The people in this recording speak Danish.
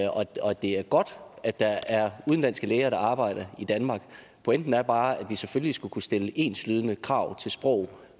det er godt at der er udenlandske læger der arbejder i danmark pointen er bare at vi selvfølgelig skal kunne stille enslydende krav til sprog